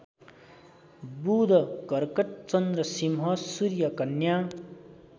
बुधकर्कट चन्द्रसिंह सूर्यकन्या